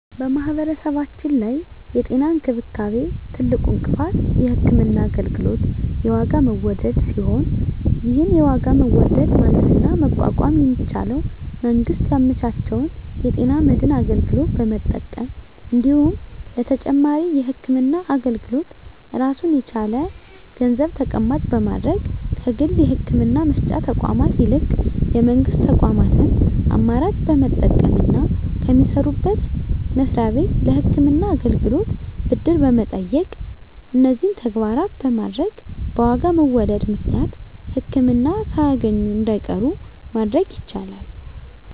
በማህበረሰባችን ላይ የጤና እንክብካቤ ትልቁ እንቅፋት የህክምና አገልግሎት የዋጋ መወደድ ሲሆን ይህን የዋጋ መወደድ ማለፍና መቋቋም የሚቻለው መንግስት ያመቻቸውን የጤና መድን አገልግሎት በመጠቀም እንዲሁም ለተጨማሪ የህክምና አገልግሎት ራሱን የቻለ ገንዘብ ተቀማጭ በማድረግ ከግል የህክምና መስጫ ተቋማት ይልቅ የመንግስት ተቋማትን አማራጭ በመጠቀምና ከሚሰሩበት መስሪያ ቤት ለህክምና አገልግሎት ብድር በመጠየቅ እነዚህን ተግባራት በማድረግ በዋጋ መወደድ ምክንያት ህክምና ሳያገኙ እንዳይቀሩ ማድረግ ይቻላል።